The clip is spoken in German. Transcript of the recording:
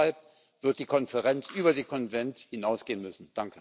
Auch deshalb wird die Konferenz über den Konvent hinausgehen müssen.